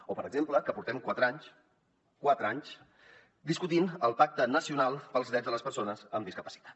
o per exemple que portem quatre anys quatre anys discutint el pacte nacional pels drets de les persones amb discapacitat